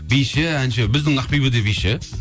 биші әнші біздің ақбибі де биші